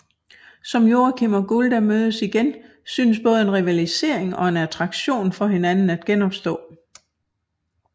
Som Joakim og Gulda mødes igen synes både en rivalisering og en attraktion for hinanden at genopstå